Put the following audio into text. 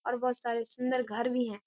और बहुत सारे सुंदर घर भी है।